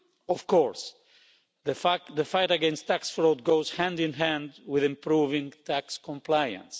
Of course the fight against tax fraud goes hand in hand with improving tax compliance.